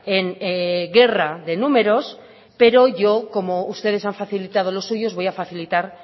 en guerra de números pero yo como ustedes han facilitado los suyos voy a facilitar